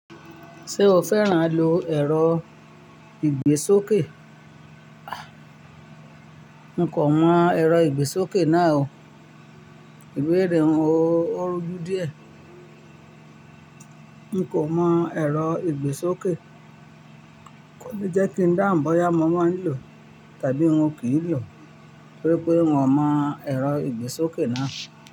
Ṣé o fẹ́ràn à lo ẹ̀rọ ìgbésókè? A! N kò mọ ẹ̀rọ ìgbésókè náà o. Ìbéèrè oun o, ó rujú díẹ̀. N kò mọ ẹ̀rọ ìgbésókè. Kò ní jẹ́ kí n dáhùn bóyá mo máa lò tàbí wọn kì í lò, torí pé wọn mọ ẹ̀rọ ìgbésókè náà.